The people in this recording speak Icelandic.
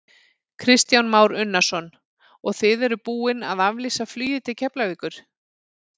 Kristján Már Unnarsson: Og þið eruð búinn að auglýsa flugið til Keflavíkur?